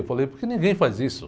Eu falei, porque ninguém faz isso.